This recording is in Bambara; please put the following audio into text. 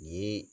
Nin